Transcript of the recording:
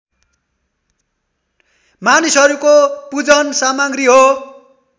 मानिसहरूको पूजन सामग्री हो